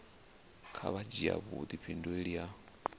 kha vha dzhia vhudifhinduleli ha